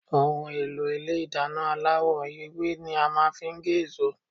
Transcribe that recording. Ohùn èlò Ilé ìdáná aláwò ewé ni a màa n fi gé èso